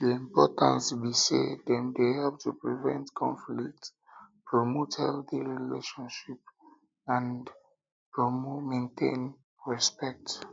di importance be say dem dey help to prevent conflicts promote respect and maintain and maintain healthy relationships